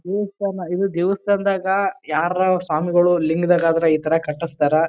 ದೇವಸ್ಥಾನ ಇವು ದೇವಸ್ಥಾನದಾಗ ಯಾರ್ರ ಸ್ವಾಮಿಗಳು ಲಿಂಗದಾಗ್ ಆದ್ರ ಈ ತರ ಕಟ್ಟಸ್ತಾರ.